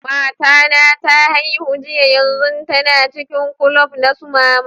Mata na ta haihu jiya, yanzun tana cikin kulob na su mama.